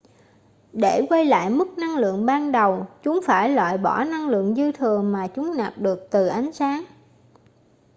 để quay lại mức năng lượng ban đầu chúng phải loại bỏ năng lượng dư thừa mà chúng nạp được từ ánh sáng